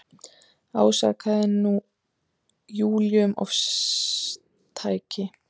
Ásakaði nú Júlíu um ofstæki.